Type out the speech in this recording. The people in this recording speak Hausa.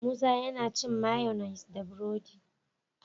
Musa yAna cin mayonnaise da buredi